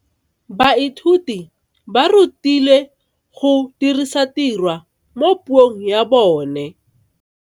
Baithuti ba rutilwe go dirisa tirwa mo puong ya bone.